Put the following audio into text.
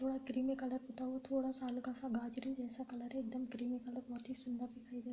थोड़ा creamy colour पुता हुआ है। थोड़ा-सा हल्का-सा गाजरी जैसा कलर है। एकदम क्रीमी कलर बोहोत ही सुंदर दिखाई दे रहा है।